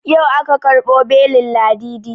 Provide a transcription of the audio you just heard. Yau aka ƙarbo belin ladidi